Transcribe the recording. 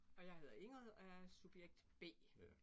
Og hedder Ingrid og jeg er subjekt B